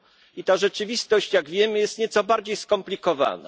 I ta rzeczywistość, jak wiemy, jest nieco bardziej skomplikowana.